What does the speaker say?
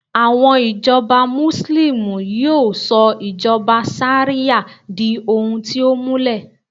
àwọn ijoba muslimu yíò sọ ijoba ṣariya di ohun ti o múlẹ